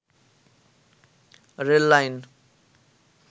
rail line